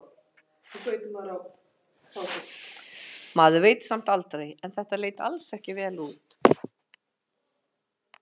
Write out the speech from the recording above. Maður veit samt aldrei en þetta leit alls ekki vel út.